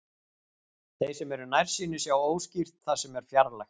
Þeir sem eru nærsýnir sjá óskýrt það sem er fjarlægt.